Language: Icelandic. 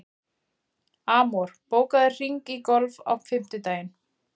Amor, bókaðu hring í golf á fimmtudaginn.